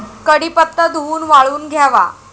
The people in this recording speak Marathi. कडीपत्ता धूवून वाळवून घ्यावा.